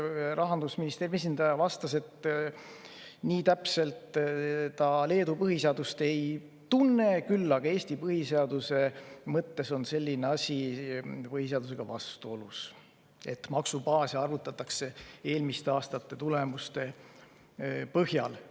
Rahandusministeeriumi esindaja vastas, et nii täpselt ta Leedu põhiseadust ei tunne, küll aga Eesti põhiseaduse mõttes on põhiseadusega vastuolus selline asi, kui maksubaase arvutatakse eelmiste aastate tulemuste põhjal.